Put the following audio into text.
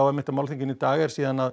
málþinginu í dag er